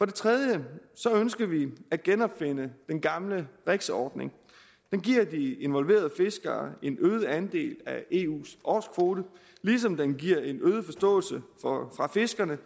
det tredje ønsker vi at genopfinde den gamle rex ordning den giver de involverede fiskere en øget andel af eus årskvote ligesom den giver fiskerne